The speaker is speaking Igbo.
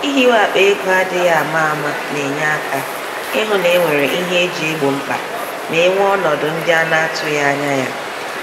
Ihiwe akpa ego adịghị àmà-àmà, na-enye aka ịhụ na e nwere ihe eji egbo mkpa, ma e nwee ọnọdụ ndị a na-atụghị anya ya.